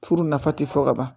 Furu nafa ti fɔ ka ban